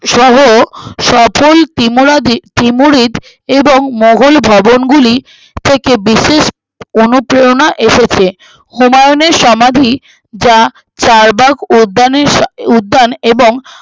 সহ সপো তিমুরা ত্রিমুরিত এবং মোঘল ভবনগুলি থেকে বিশেষ অনুপ্রেরণা এসেছে হুমায়ুনের সমাধি যা চারবাগ উদ্যানের সাহ উদ্যান এবং